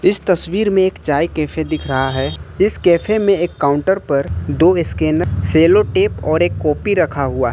इस तस्वीर में एक चाय कैफे दिख रहा है इस कैफे में एक काउंटर पर दो स्कैनर सेलो टेप और एक कॉपी रखा हुआ है।